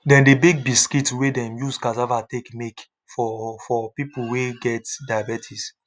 dem dey bake biscuits wey dem use cassava take make for for people wey get diabetes